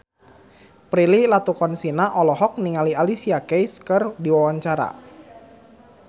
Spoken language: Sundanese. Prilly Latuconsina olohok ningali Alicia Keys keur diwawancara